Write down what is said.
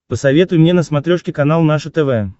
посоветуй мне на смотрешке канал наше тв